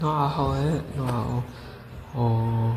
Noocaa waxa waye noocaa oo